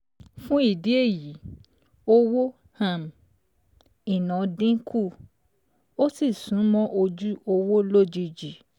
Fún ìdí èyí, owó um ìná dínkù, ó sì sún mọ́ ojú owó lójijì